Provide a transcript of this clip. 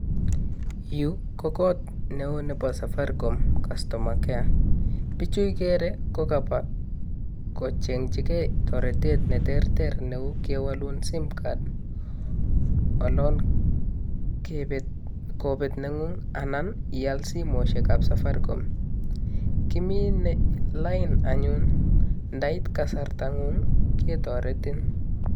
Yuu ko kot neo nebo safaricom customer care bijuu ikere ko kabwa kochengi gee toretet neterter neu kewolun [cssimcard olon kebet, kobet nengun anan ial simoishek ab safaricom kimine lain anyun indait kasartangun ketoretin.